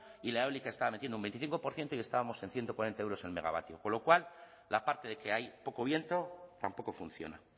y la eólica estaba metiendo un veinticinco por ciento y estábamos en ciento cuarenta euros el megavatios con lo cual la parte de que hay poco viento tampoco funciona